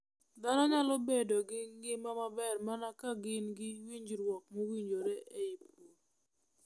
Dhano nyalo bedo gi ngima maber mana ka gin gi winjruok mowinjore e pur .